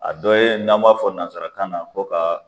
A dɔ ye n'an m'a fɔ nanzarakan na ko ka